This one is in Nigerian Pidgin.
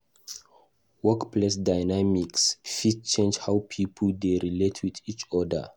Workplace dynamics fit affect how pipo dey relate with each oda.